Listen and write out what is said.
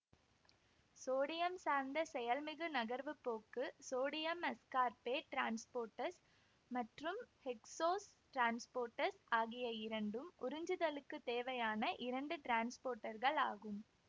sodium சார்ந்த செயல்மிகு நகர்வு போக்கு சோடியம்அஸ்கார்பேட் டிரான்ஸ்போர்ட்டர்ஸ் மற்றும் ஹெக்ஸோஸ் டிரான்ஸ்போர்ட்டர்ஸ் ஆகிய இரண்டும் உறிஞ்சுதலுக்குத் தேவையான இரண்டு டிரான்ஸ்போர்ட்டர்களாகும்